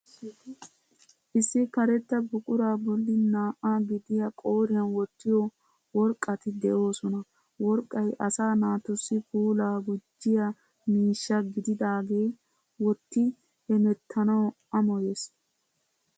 Issi karetta buquraa bolli naa"aa gidiya qooriyan wottiyo worqqati de'oosona. Worqqay asaa naatussi puulaa gujjiya miishsha gididaagee wotti hemettanaw amoyes.